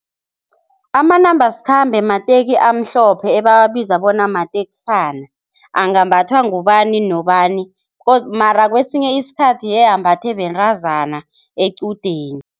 Amanambasikhambe mateki amhlophe ebawabiza bona mateksana, angambathwa ngubani nobani godu mara kwesinye isikhathi yembathwe bentazana equdeni.